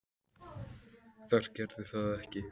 Þær gerðu það ekki.